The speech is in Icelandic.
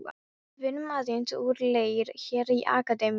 Við vinnum aðeins úr leir hér í Akademíunni.